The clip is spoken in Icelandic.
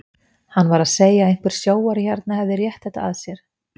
Hann var að segja að einhver sjóari hérna hefði rétt þetta að sér.